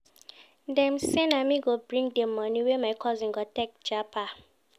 Dem sey na me go bring di moni wey my cousin go take japa.